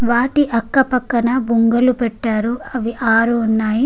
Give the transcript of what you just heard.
వాటి పక్క పక్కన బుంగలు పెట్టారు అవి ఆరు ఉన్నాయి.